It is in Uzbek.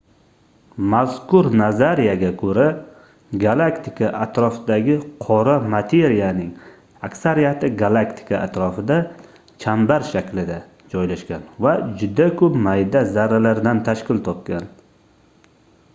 mazkur nazariyaga koʻra galaktika atrofidagi qora materiyaning aksariyati galaktika atrofida chambar shaklida joylashgan va juda koʻp mayda zarralardan tashkil topgan